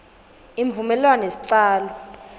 imvumelwanosicalo